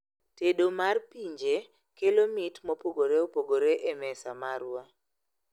Tedo mar pinje kelo mit mopogoreopogore e mesa marwa